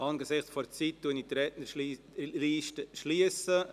Angesichts der fortgeschrittenen Zeit schliesse ich die Rednerliste.